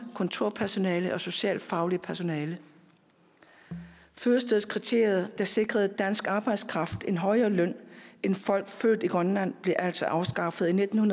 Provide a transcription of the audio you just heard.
kontorpersonale og socialfagligt personale fødestedskriteriet der sikrede dansk arbejdskraft en højere løn end folk født i grønland blev altså afskaffet i nitten